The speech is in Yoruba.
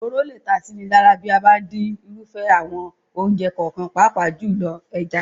Òróró lè ta síni lára bí a bá ń dín irúfẹ́ àwọn oúnjẹ kọ̀ọ̀kan, pàápàá jùlọ, ẹja.